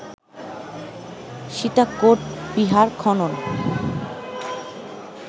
সীতাকোট বিহার খনন